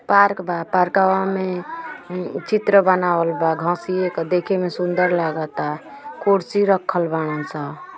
Park बा पार्कवा में उम्म चित्र बनावला बा घसीये क देखे में सुंदर लागता। कुर्सी रखल बाड़न स।